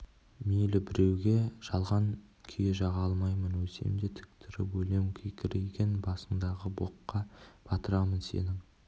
мейлі біреуге жалған күйе жаға алмаймын өлсем де тік тұрып өлем кекірейген басындағы боққа батырамын сенің